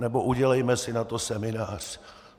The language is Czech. Nebo udělejme si na to seminář.